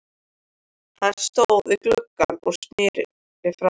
Hann stóð við gluggann og sneri frá mér.